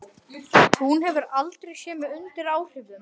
Hún hefur aldrei séð mig undir áhrifum.